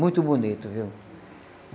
Muito bonito, viu?